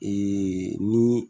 ni